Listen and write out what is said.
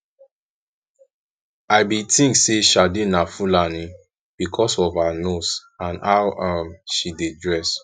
i bin think say sade na fulani because of her nose and how um she dey dress